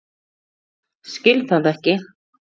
Skil það ekki.